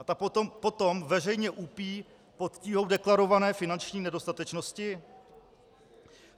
A ta potom veřejně úpí pod tíhou deklarované finanční nedostatečnosti?